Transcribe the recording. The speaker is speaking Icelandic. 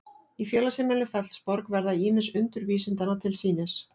í félagsheimilinu fellsborg verða ýmis undur vísindanna til sýnis